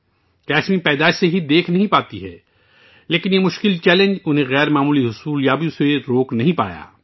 کسمی پیدائش کے بعد سے دیکھنے کے قابل نہیں ہے، لیکن اس مشکل چیلنج نے اسے غیر معمولی کام یابیوں کے حصول سے نہیں روکا